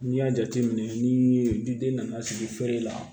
N'i y'a jateminɛ ni den nana sigi feere la